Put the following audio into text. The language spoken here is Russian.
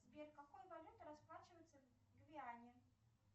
сбер какой валютой расплачиваются в гвиане